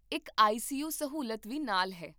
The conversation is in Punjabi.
ਇੱਕ ਆਈ ਸੀ ਯੂ ਸਹੂਲਤ ਵੀ ਨਾਲ ਹੈ